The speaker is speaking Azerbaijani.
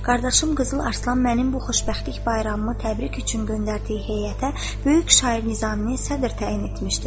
Qardaşım Qızıl Arslan mənim bu xoşbəxtlik bayramımı təbrik üçün göndərdiyi heyətə böyük şair Nizamini sədr təyin etmişdir.